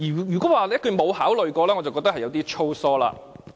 如果說沒有考慮過，我覺得是有點粗疏。